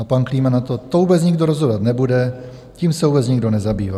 A pan Klíma na to: "To vůbec nikdo rozhodovat nebude, tím se vůbec nikdo nezabývá."